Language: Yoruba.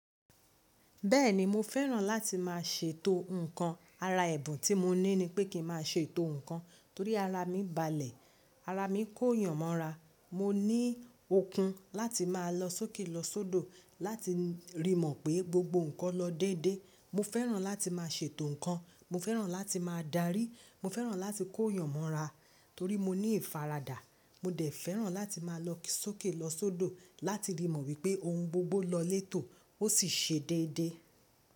Bẹ́ẹ̀ni mo fẹ́ràn láti máa ṣètò ǹkan. Ara ẹ̀bùn tí mo ní ni pé kí n máa ṣètò ǹkan torí ara mi balẹ̀, ara mi kò yàn mọ́ra. Mo ní okun láti máa lọ sókè lọ sọ́dọ̀ láti rí mọ̀ pé gbogbo ǹkan lọ déédé. Mo fẹ́ràn láti máa ṣètò ǹkan, mo fẹ́ràn láti máa darí, mo fẹ́ràn láti kó yànmọ́ra torí mo ní ìfaradà. Mo dẹ̀ fẹ́ràn láti máa lọ sókè lọ sọ́dọ̀ láti rí mọ̀ wípé ohun gbogbo lọ létò ó sì ṣe déédé.